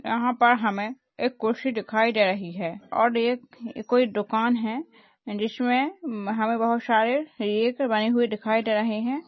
यहां पर हमें एक कुर्सी दिखाई दे रही है और ये एक कोई दुकान है जिसमें हमें बहुत सारे बने हुए दिखाई दे रहे है।